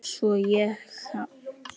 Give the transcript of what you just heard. Svo ég jafni mig fljótt.